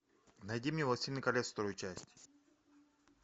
найди мне властелин колец вторую часть